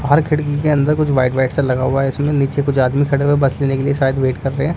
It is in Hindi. बाहर खिड़की के अंदर कुछ वाइट वाइट सा लगा हुआ है इसमे नीचे कुछ आदमी खड़े हुए बस लेने के लिए शायद वेट कर रहे हैं।